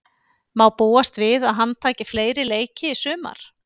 Má búast við að hann taki fleiri leiki í sumar?